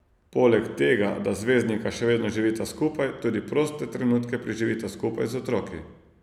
Poleg tega, da zvezdnika še vedno živita skupaj, tudi proste trenutke preživita skupaj z otroki.